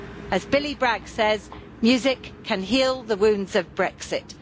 As Billy Bragg says, music can heal the wounds of Brexit'.